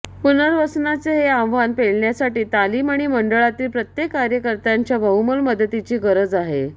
पुनर्वसनाचे हे आव्हान पेलण्यासाठी तालीम आणि मंडळांतील प्रत्येक कार्यकर्त्याच्या बहुमोल मदतीची गरज आहे